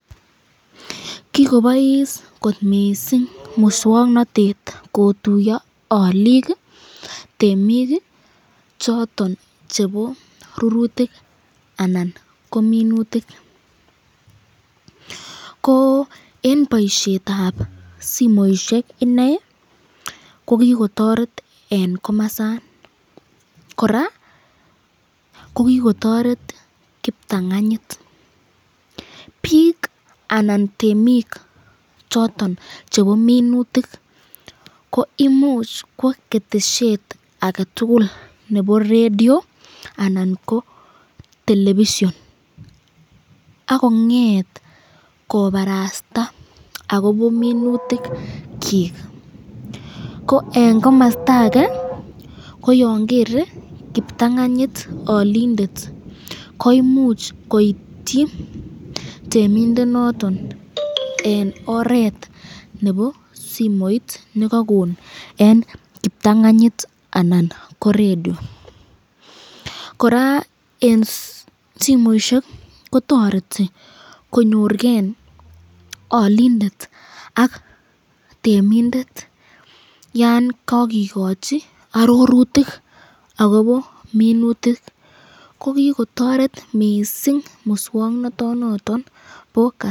kigobois kot mising muswoknotet kotuyo oliik iih temiik iih choton chebo rurutik anan ko minutik, ko en boisheet ab simoishek inei, ko kigotoreet en komosoon koraa kogigotoret kiptanganyit, biik anan temiik choton chebo minutik ko imuch ko ketesheet agetul nebo redio anan ko televison ak kongeet kobarasta agobo minutik kyiik, ko en komosta age koyon kere kiptanganyit olindet koimuch koityi temindet noton en oreet nebo simoit negagon en kiptanganyit anan ko redio, koraa en simoishek kotoreti konyoor geeolindet ak temindet yaan kagigochi ororutik agobo minutik ko kigotoret mising muswoknoto noton bo ka,,